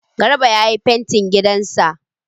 Garba ya yi fantin gidan sa